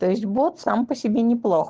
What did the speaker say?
тоесть бот сам по себе не плох